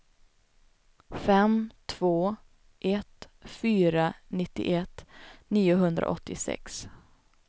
fem två ett fyra nittioett niohundraåttiosex